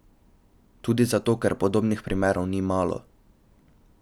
Tudi zato ker podobnih primerov ni malo.